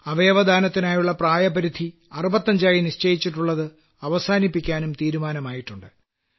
അവയവദാനത്തിനായുള്ള പ്രായപരിധി 65 ആയി നിശ്ചയിച്ചിട്ടുള്ളത് അവസാനിപ്പിക്കാനും തീരുമാനമായിട്ടുണ്ട്